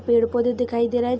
पेड़ पौधे दिखाई देरा है।